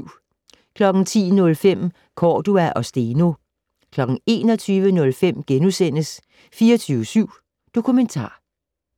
10:05: Cordua og Steno 21:05: 24syv Dokumentar *